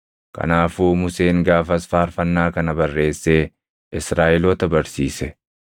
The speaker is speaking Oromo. Kanaafuu Museen gaafas faarfannaa kana barreessee Israaʼeloota barsiise.